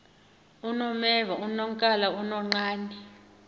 unomeva unonkala unonqane